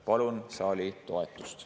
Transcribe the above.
Palun saali toetust.